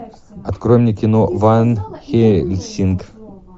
открой мне кино ван хельсинг